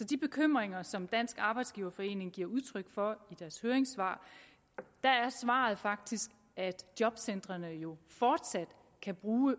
de bekymringer som dansk arbejdsgiverforening giver udtryk for i deres høringssvar er svaret faktisk at jobcentrene jo fortsat kan bruge